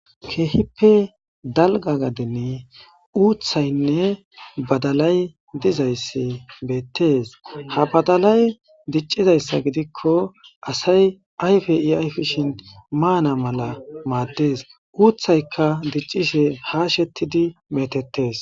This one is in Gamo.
keehippe dalga gaden uuthaynne badalay dizayssi beettees ha badalay diccizayssa gidikko asay ayfei ayfishin maana mala maaddees uuthaykka diccishe ha shettidi metettees